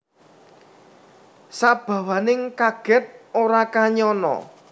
Sabawaning kaget ora kanyana